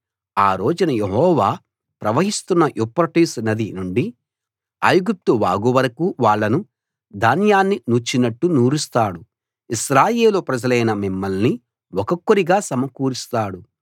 ఆ రోజున యెహోవా ప్రవహిస్తున్న యూఫ్రటీసు నది నుండి ఐగుప్తు వాగు వరకూ వాళ్ళను ధాన్యాన్ని నూర్చినట్టు నూరుస్తాడు ఇశ్రాయేలు ప్రజలైన మిమ్మల్ని ఒక్కొక్కరిగా సమకూరుస్తాడు